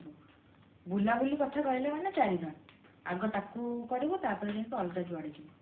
ବୁଲାବୁଲି କଥା କହିଲେ ମାନେ ଚାରି ଧାମ ଆଗ ତାକୁ କରିବୁ ତାପରେ ଯାଇକି ଅଲଗା ଯୁଆଡେ ଯିବୁ